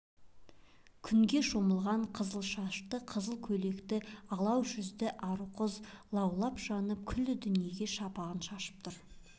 күнге шомылған қызыл шашты қызыл көйлекті алау жүзді ару қыз лаулап жанып күллі дүниеге шапағын шашып тұр